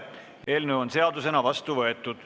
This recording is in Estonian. Eelnõu on seadusena vastu võetud.